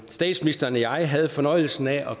statsministeren og jeg havde fornøjelsen af at